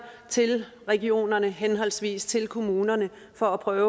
til regionerne henholdsvis til kommunerne for at prøve